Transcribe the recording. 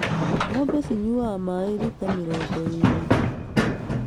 Ng'ombe cinyuaga maaĩ rita mĩrongo ĩĩrĩ